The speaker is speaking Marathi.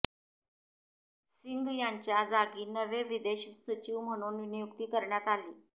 सिंग यांच्या जागी नवे विदेश सचिव म्हणून नियुक्ती करण्यात आली